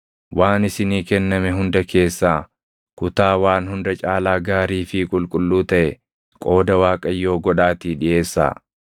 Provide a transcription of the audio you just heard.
Waan isinii kenname hunda keessaa kutaa waan hunda caalaa gaarii fi qulqulluu taʼe qooda Waaqayyoo godhaatii dhiʼeessaa.’